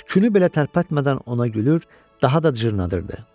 tükünü belə tərpətmədən ona gülür, daha da cırnadırdı.